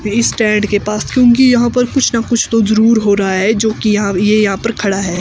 इस स्टैंड के पास क्योंकि यहां पर कुछ ना कुछ तो जरूर हो रहा है जो कि यहां ये यहां पर खड़ा है।